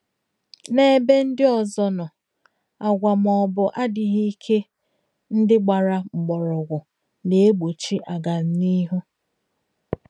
N'ebw ndị ọzọ nọ, àgwà maọbụ adịghị ike ndị gbara mgbọrọgwụ na-egbochi agamnihu.